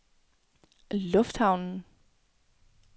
lufthavnen